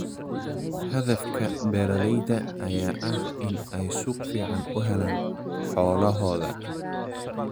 Hadafka beeralayda ayaa ah in ay suuq fiican u helaan xoolahooda.